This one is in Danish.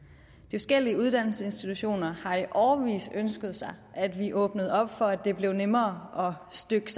forskellige uddannelsesinstitutioner har i årevis ønsket sig at vi åbnede op for at det blev nemmere at stykke